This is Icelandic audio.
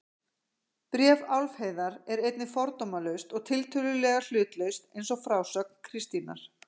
Bréf Álfheiðar er einnig fordómalaust og tiltölulega hlutlaust eins og frásögn Kristínar.